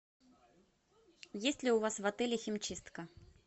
есть ли у вас в отеле химчистка